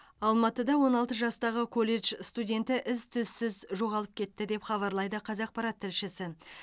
алматыда он алты жастағы колледж студенті із түзсіз жоғалып кетті деп хабарлайды қазақпарат тілшісі